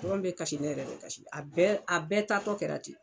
Patɔrɔn bɛ kasi ne yɛrɛ bɛ kasi , a bɛɛ ta tɔ kɛra ten!